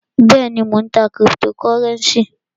Bẹ́èni, Mó ń tá criptocurenci.